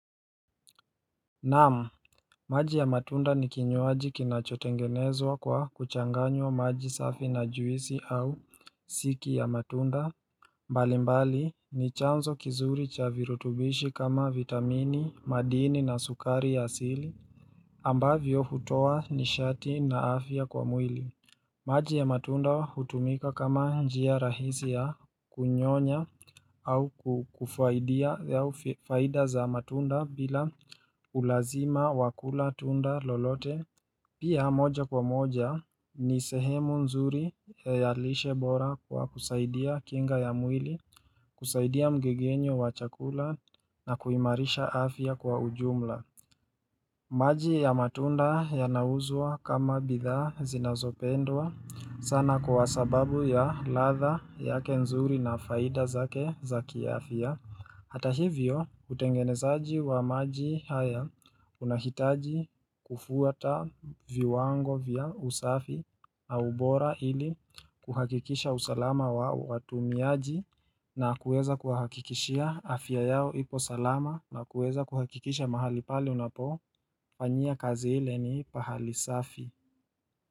Naamu maji ya matunda ni kinyuaji kinachotengenezwa kwa kuchanganywa maji safi na juisi au siki ya matunda mbalimbali ni chanzo kizuri chavirutubishi kama vitamini, madini na sukari ya sili ambavyo hutowa ni shati na afya kwa mwili maji ya matunda hutumika kama njia rahisi ya kunyonya au kufaidia ya faida za matunda bila ulazima wakula tunda lolote Pia moja kwa moja ni sehemu nzuri ya yalishe bora kwa kusaidia kinga ya mwili kusaidia mgegenyo wa chakula na kuimarisha afya kwa ujumla maji ya matunda ya nauzwa kama bidhaa zinazopendwa sana kwa sababu ya latha ya kenzuri na faida zake za kiafya Hata hivyo utengenezaji wa maji haya unahitaji kufuata viwango vya usafi au bora ili kuhakikisha usalama wao watu miaji na kuweza kuhakikisha afya yao ipo salama na kuweza kuhakikisha mahali pali unapo panyia kazi hile ni pahali safi.